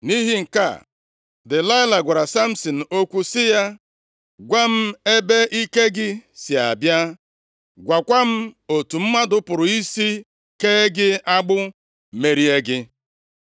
Nʼihi nke a, Delaịla gwara Samsin okwu sị ya, “Gwa m ebe ike gị si abịa. Gwakwa m otu mmadụ pụrụ isi kee gị agbụ, merie gị.”